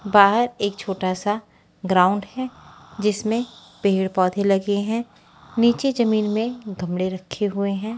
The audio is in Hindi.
बहार एक छोटा सा ग्राउंड है जिसमे पेड़ पौधे लगे है नीचे जमींन में गमले रखे हुए है।